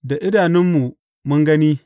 Da idanunmu mun gani.